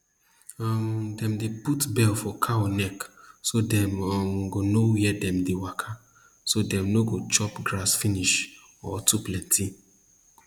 um dem dey put bell for cow neck so dem um go know where dem dey waka so dem no go chop grass finish or too plenty